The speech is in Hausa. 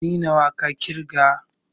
Ɗani nawa ka ƙirga?